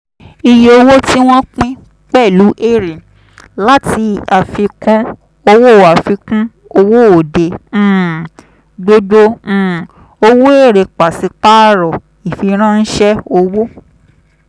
iye owó tí wọ́n pín pẹ̀lú èrè láti àfikún owó àfikún owó òde um gbogbo um owó èrè pàṣípàrọ̀ ìfiránṣẹ́ owó.